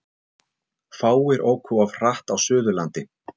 Fáir óku of hratt á Suðurlandi